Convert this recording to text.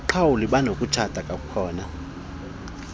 abaqhawule banokutshata kwakhona